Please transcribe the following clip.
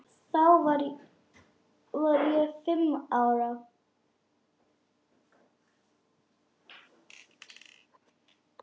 Þá var ég fimm ára.